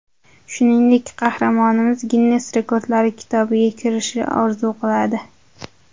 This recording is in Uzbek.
Shuningdek, qahramonimiz Ginnes rekordlari kitobiga kirishni orzu qiladi.